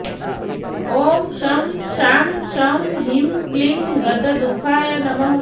ॐ शं शां षं ह्रीं क्लीं गतदुःखाय नमः